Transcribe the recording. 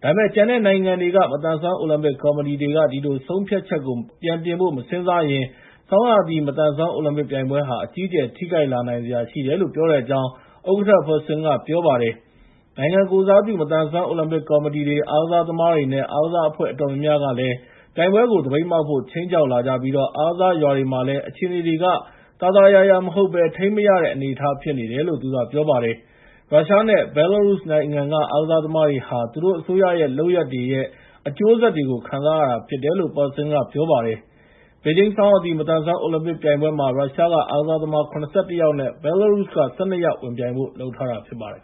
။ ဒါပေမယ့် ကျန်တဲ့ နိုင်ငံတွေရဲ့ မသန်စွမ်းအိုလံပစ်ကော်မတီတွေက ဒီဆုံးဖြတ်ချက်ကို ပြန်ပြင်ဖို့မစဉ်းစားရင် ဆောင်းရာသီ မသန်စွမ်းအိုလံပစ်ပြိုင်ပွဲဟာ အကြီးအကျယ်ထိခိုက်လာနိုင်စရာရှိတယ်လို့ ပြောတဲ့အကြောင်း ဥက္ကဋ္ဌ Parsons ကပြောပါတယ်။ နိုင်ငံကိုယ်စားပြု မသန်စွမ်း အိုလံပစ်ကော်မတီတွေ၊ အားကစားသမားတွေနဲ့ အားကစားအဖွဲ့ အတော်များများကလည်း ပြိုင်ပွဲကို သပိတ်မှောက်ဖို့ ခြိမ်းခြောက်လာကြပြီး အားကစားရွာတွေမှာလည်း အခြေအနေတွေက သာသာယာယာမဟုတ်ဘဲ ထိန်းမရတဲ့ အနေအထားဖြစ်နေတယ်လို့ သူကပြောပါတယ်။ ရုရှားနဲ့ ဘဲလာရုစ် အားကစားသမားတွေဟာ သူတို့အစိုးရတွေရဲ့လုပ်ရပ် အကျိုးဆက်တွေကို ခံရတာဖြစ်တယ်လို့ Parsons က ပြောပါတယ်။ ဘေဂျင်း ဆောင်းရာသီ မသန်စွမ်းအိုလံပစ်ပြိုင်ပွဲမှာ ရုရှားက အားကစားသမား ၇၁ ယောက် နဲ့ ဘဲလာရုစ်က ၁၂ ယောက်ဝင်ပြိုင်ဖို့ လုပ်ထားတာဖြစ်ပါတယ်